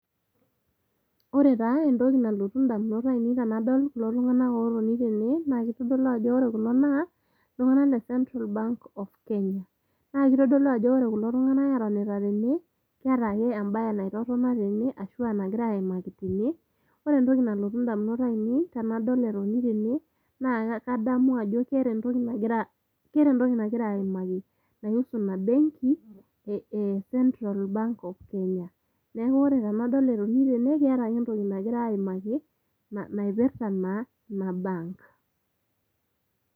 Ore taa entoki nalotu indamunot ainei tenadol kulo tung'anak otoni tene, na kitodolu ajo ore kulo naa, iltung'anak le Central Bank of Kenya. Na kitodolu ajo ore kulo tung'anak etonita tene, keeta ake ebae naitotona tene ashu enagirai aimaki tene, ore entoki nalotu indamunot ainei tenadol etoni tene, naa kadamu ajo keeta entoki nagira aimaki nai husu ina benki e Central Bank of Kenya. Neeku ore tenadol etoni tene, keeta ake entoki nagira aimaki, naipirta naa ena bank [cs.